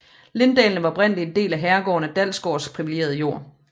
Linddalene var oprindeligt en del at herregården Dalsgaards privilegerede jord